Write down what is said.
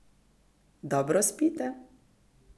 Dobro spite?